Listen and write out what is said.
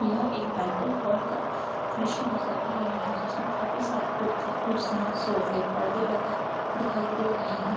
यह एक banquet hall का दृश्य नजर आ रहा है जिसमे काफी सारी कुर्ती कुर्शिया सोफे परदे लगाये दिखाई दे रहे हैं। .